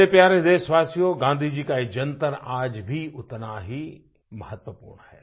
मेरे प्यारे देशवासियो गाँधी जी का एक जंतर आज भी उतना ही महत्वपूर्ण है